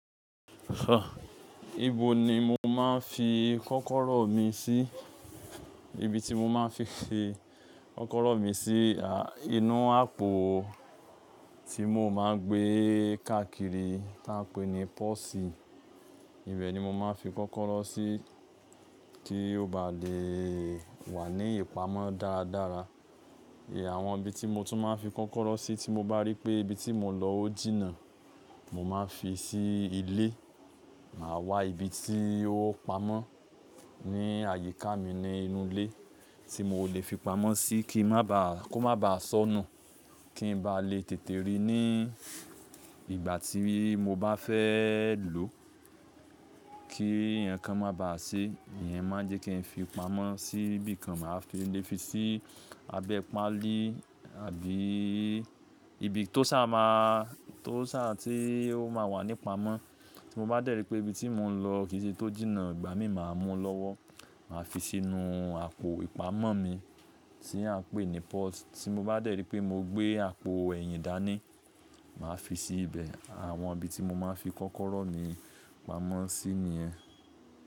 Ibo ni mo máa ń fi kọ́kọ́rọ́ mi sí? Ibi tí mo máa ń fi kọ́kọ́rọ́ mi sí, inú àpò tí mo máa ń gbé káàkiri tí a ń pè ní pósì. Ibẹ̀ ni mo máa ń fi kọ́kọ́rọ́ sí kí ó ba lè wà ní ìpamọ́ dáadára. Àwọn ibi tí mo tún máa ń fi kọ́kọ́rọ́ sí tí mo bá rí pé ibi tí mo lọ ó jìnnà, mo máa ń fi sí ilé. Màá wá ibi tí ó pamọ́ ní àyíká mi ní inú ilé tí mo lè fi pamọ́ sí kí ó má ba à sọ̀nù, kí n ba lè tètè rí ní ìgbà tí mo bá fẹ́ lò ó kí ǹkan má ba à sé. Ìyẹn máa jẹ́ kí n fi pamọ́ sí ibìkan, màá fi lè fi sí abẹ́ páálí àbí ibi tó sá ti ó máa wà ní pamọ́. Tí mo bá dẹ̀ rí pé ibi tí mo ń lọ kì í ṣe tó jìnnà, ìgbà mí màá mú lọ́wọ́, màá fi sínú àpò ìpamọ́ mi tí a ń pè ní pósì. Tí mo bá dẹ̀ rí pé mo gbé àpò ẹ̀yìn dání, màá fi sí ibẹ̀. Àwọn ibi tí mo máa ń fi kọ́kọ́rọ́ mi pamọ́ sí ni ẹ.